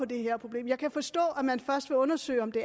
det her problem jeg kan forstå at man først vil undersøge om det